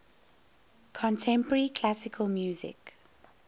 contemporary classical music